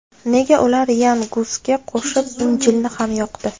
Nega ular Yan Gusga qo‘shib Injilni ham yoqdi?